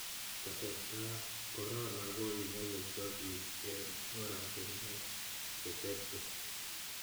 Kasartap korono ko kinyalilso piik eng' orotinwek che terter.